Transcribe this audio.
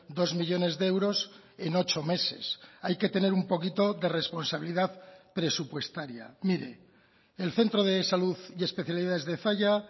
dos millónes de euros en ocho meses hay que tener un poquito de responsabilidad presupuestaria mire el centro de salud y especialidades de zalla